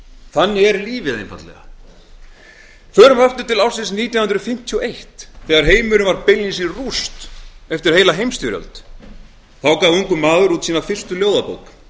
þannig er lífið förum aftur til ársins nítján hundruð fimmtíu og eitt þegar heimurinn var beinlínis í rúst eftir heila heimsstyrjöld þá gaf ungur maður út sína fyrstu ljóðabók